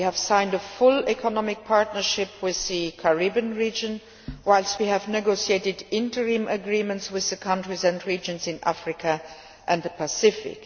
We have signed a full Economic Partnership Agreement with the Caribbean region, whilst we have negotiated interim agreements with countries and regions in Africa and the Pacific.